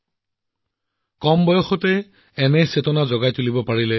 ইয়াত ছাত্ৰছাত্ৰীসকলক পুনৰ ব্যৱহাৰ আৰু প্লাষ্টিকৰ আৱৰ্জনাৰে সামগ্ৰী নিৰ্মাণ কৰিবলৈও শিকোৱা হয়